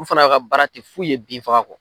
U fana ka baara tɛ f'u ye bin faga kɔ.